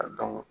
A dɔn